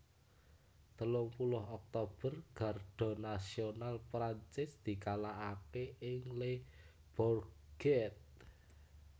Telung puluh Oktober Garda Nasional Prancis dikalahaké ing Le Bourget